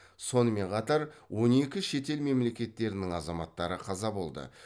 сонымен қатар он екі шетел мемлекеттерінің азаматтары қаза болды